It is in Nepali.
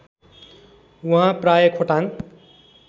उहाँ प्रायः खोटाङ